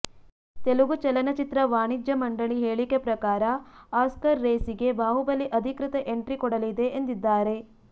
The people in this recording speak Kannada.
ತೆಲುಗು ಚಲನಚಿತ್ರ ವಾಣಿಜ್ಯ ಮಂಡಳಿ ಹೇಳಿಕೆ ಪ್ರಕಾರ ಆಸ್ಕರ್ ರೇಸಿಗೆ ಬಾಹುಬಲಿ ಅಧಿಕೃತ ಎಂಟ್ರಿ ಕೊಡಲಿದೆ ಎಂದಿದ್ದಾರೆ